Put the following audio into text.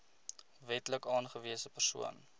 wetlik aangewese persoon